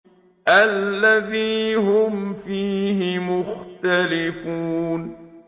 الَّذِي هُمْ فِيهِ مُخْتَلِفُونَ